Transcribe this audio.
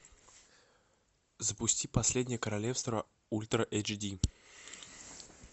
запусти последнее королевство ультра эйч ди